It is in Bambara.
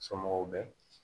Somɔgɔw bɛ